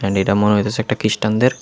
মনে হইতাছে একটা খ্রিস্টানদের।